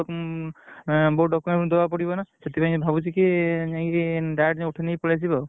ବହୁତ document ଦବାକୁ ପଡିବ ନା ସେଥିପାଇଁ ଭାବୁଚିକି ଯାଇକି direct ଯାଇ ଉଠେଇ ନେଇ ପଳେଇ ଆସିବି ଆଉ।